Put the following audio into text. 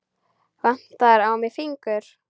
Vantaði á mig fingur?